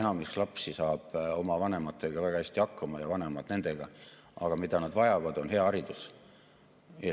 Enamik lapsi saab oma vanematega väga hästi hakkama ja vanemad saavad nendega hakkama, aga see, mida nad vajavad, on hea haridus.